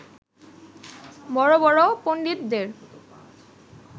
বড়-বড় পণ্ডিতদের